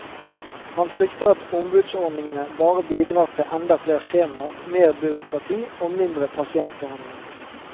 Han frykter at ombudsordningene bare bidrar til enda flere skjemaer, mer byråkrati og mindre pasientbehandling.